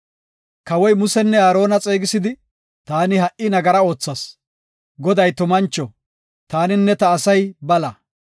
Kawoy Musenne Aarona xeegisidi, “Taani ha77i nagara oothas. Goday tumancho; taaninne ta asay bala.